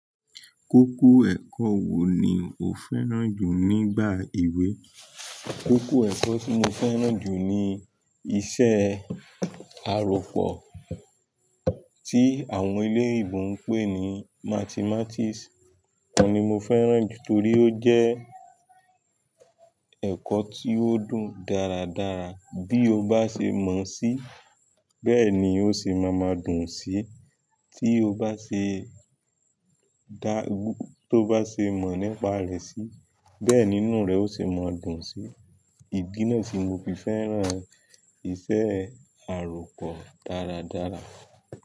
Kókó ẹ̀kọ́ wo ni o fẹ́ràn jù nígbà èwé? Kókó ẹ̀kọ́ tí mo fẹ́ràn jù ni iṣẹ́ àròpọ̀ tí àwọn ilé ìwé ń pè ní Mathematics. Oni mo fẹ́ràn jù torí ó jẹ́ ẹ̀kọ́ tí ó dùn dáradára. Bí o bá ṣe mọ̀ síi bẹ́ẹ̀ ni ó ṣe máa ma dùn síi. Tí o bá ṣe dá-- to bá ṣe mọ̀ nípa rẹ̀ síi bẹ́ẹ̀ nínú rẹ̀ o ṣe máa dùn síi. Idi náà si mo fi fẹ́ràn iṣẹ́ àròpọ̀ dáradára.